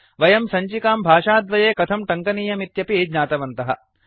वयं सञ्चिकां भाषाद्वये कथं टङ्कनीयमित्यपि ज्ञातवन्तः